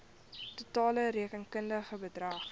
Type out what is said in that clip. totale rekenkundige bedrag